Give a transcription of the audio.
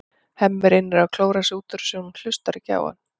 Hemmi reynir að klóra sig út úr þessu en hún hlustar ekki á hann.